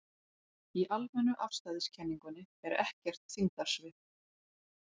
Í almennu afstæðiskenningunni er ekkert þyngdarsvið.